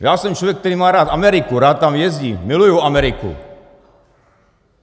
Já jsem člověk, který má rád Ameriku, rád tam jezdím, miluju Ameriku.